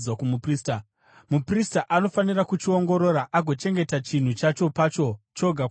Muprista anofanira kuchiongorora agochengeta chinhu chacho pacho choga kwamazuva manomwe.